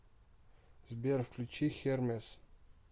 сбер включи хермес